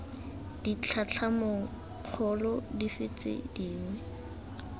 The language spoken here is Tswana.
ditlhatlhamanong kgolo dife tse dingwe